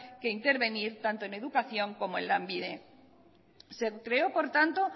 que intervenir tanto en educación como en lanbide se creó por tanto